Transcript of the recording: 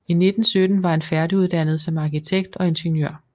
I 1917 var han færdiguddannet som arkitekt og ingeniør